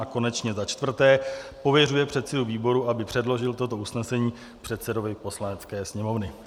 A konečně za čtvrté pověřuje předsedu výboru, aby předložil toto usnesení předsedovi Poslanecké sněmovny."